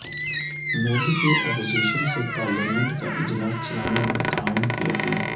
مودی کی اپوزیشن سے پارلیمنٹ کا اجلاس چلانے میں تعاون کی اپیل